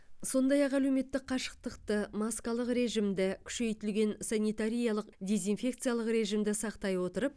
сондай ақ әлеуметтік қашықтықты маскалық режимді күшейтілген санитариялық дезинфекциялық режимді сақтай отырып